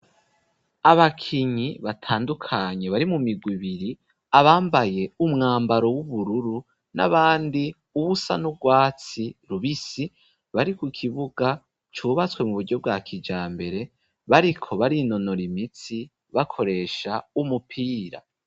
Abakinyi batandukanye bari mu migwi ibiri, abambaye umwambaro w'ubururu n'abandi uwusa n'urwatsi rubisi, bari ku kibuga cubatswe mu buryo bwa kijambere, bariko barinonora imitsi, bakoresha umupira.